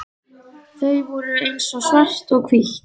Þau voru eins og svart og hvítt.